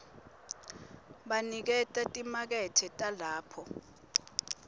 baniketa timakethe talapho